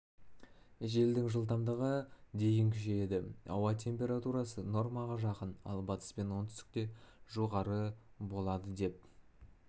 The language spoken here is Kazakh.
желдің жылдамдығы дейін күшейеді ауа температурасы нормаға жақын ал батыс пен оңтүстікте жоғары болады деп